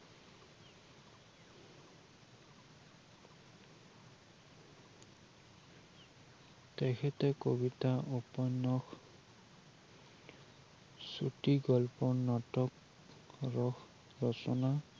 তেখেতে কবিতা উপন্যস, ছুটি গল্প, নাটক, ৰস ৰচনা